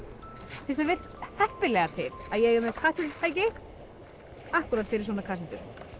fyrst vill svo heppilega til að ég er með kassettutæki akkúrat fyrir svona kassettur